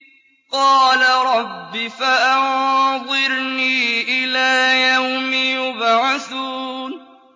قَالَ رَبِّ فَأَنظِرْنِي إِلَىٰ يَوْمِ يُبْعَثُونَ